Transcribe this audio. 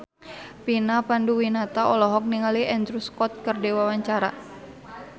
Vina Panduwinata olohok ningali Andrew Scott keur diwawancara